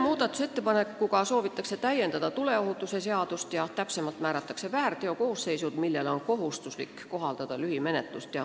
Sellega soovitakse täiendada tuleohutuse seadust, määrates väärteokoosseisud, mille korral on kohustuslik kohaldada lühimenetlust.